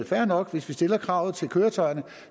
fair nok hvis vi stiller kravet til køretøjerne